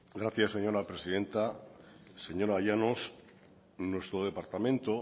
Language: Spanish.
gracias señora presidenta señora llanos nuestro departamento